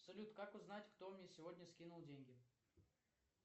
салют как узнать кто мне сегодня скинул деньги